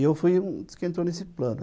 E eu fui um dos que entrou nesse plano.